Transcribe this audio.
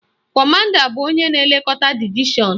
Kọmanda bụ onye na-elekọta divishọn